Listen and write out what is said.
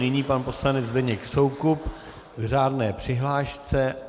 Nyní pan poslanec Zdeněk Soukup k řádné přihlášce.